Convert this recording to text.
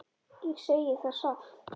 Ég segi það satt.